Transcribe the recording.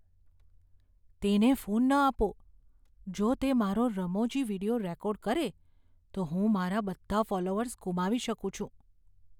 તેને ફોન ન આપો. જો તે મારો રમૂજી વીડિયો રેકોર્ડ કરે, તો હું મારા બધા ફોલોઅર્સ ગુમાવી શકું છું.